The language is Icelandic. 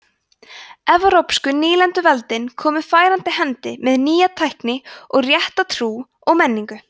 evrópsku nýlenduveldin komu færandi hendi með nýja tækni og rétta trú og menningu